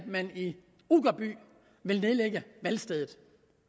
man i uggerby vil nedlægge valgstedet